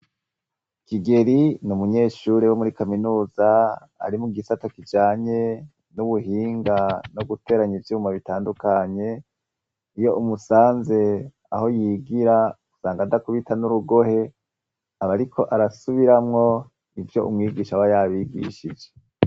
Kigeri ni umunyeshure wo muri Kaminuza ari mugisata kijanye kubuhinga ko guteranya ivyuma bitandukanye iyo umusanze aho yigira usanga adakubita nurugohe usanga Ariko arasubiramwo ivyo umwigisha aba yabigishije.